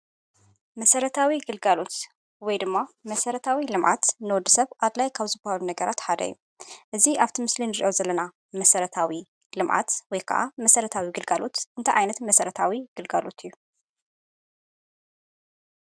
መሰረታዊ ግልጋሎት ወይ ድማ መሰረታዊ ልምዓት ንወድስብ አድላይ ካብ ዝበሃሉ ነገራት ሓደ እዩ። እዚ አብዚ ምስሊ ንሪኦ ዘለና መሰረታዊ ልምዓት ወይ ከዓ መስረታዊ ግልጋሎት እንታይ ዓይነት መስረታዊ ግልጋሎት እዩ?